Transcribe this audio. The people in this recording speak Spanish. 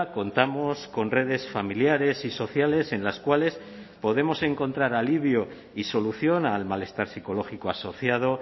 contamos con redes familiares y sociales en las cuales podemos encontrar alivio y solución al malestar psicológico asociado